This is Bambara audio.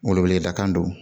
Wele weleda kan don